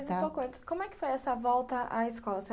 Mas, um pouco antes, como é que foi essa volta à escola?